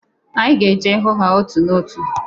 Anyị ga-eje hụ ha n'otu n'otu.